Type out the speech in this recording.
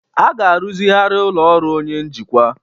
A ga-arụzigharị ụlọ ọrụ onye njikwa